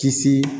Kisi